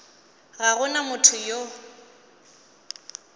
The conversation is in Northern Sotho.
ga go na motho yo